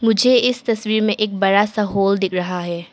मुझे इस तस्वीर में एक बड़ा सा होल दिख रहा है।